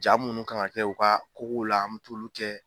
Jaa munnu kan ka kɛ u ka kogow la an mu t'ulu kɛ.